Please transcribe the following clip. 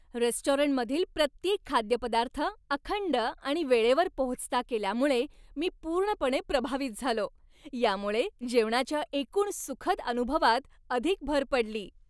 रेस्टॉरंटमधील प्रत्येक खाद्यपदार्थ अखंड आणि वेळेवर पोहोचता केल्यामुळे मी पूर्णपणे प्रभावित झालो, यामुळे जेवणाच्या एकूण सुखद अनुभवात अधिक भर पडली.